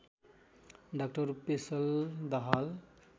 डा पेशल दाहाल